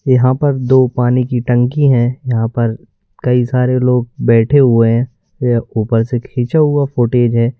यहां पर दो पानी की टंकी है यहां पर कई सारे लोग बैठे हुए हैं यह ऊपर से खींचा हुआ फूटेज है।